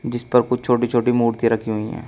जिस पर कुछ छोटी छोटी मूर्ति रखी हुई हैं।